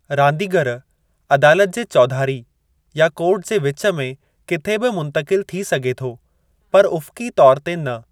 रांदीगरु अदालत जे चौधारी या कोर्ट जे विचु में किथे बि मुंतक़िल थी सघे थो पर उफ़क़ी तौर ते न।